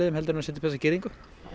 heldur en að setja upp þessa girðingu